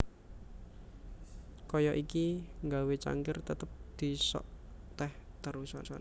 Kaya iki nggawé cangkir tetep disok teh terusan